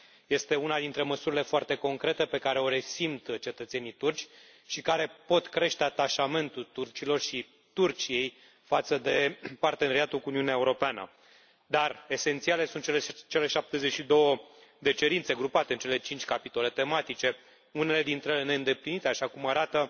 Este una dintre măsurile foarte concrete pe care o resimt cetățenii turci și care pot crește atașamentul turcilor și Turciei față de parteneriatul cu Uniunea Europeană, dar esențiale sunt cele 72 de cerințe grupate în cele cinci capitole tematice, unele dintre ele neîndeplinite, așa cum arată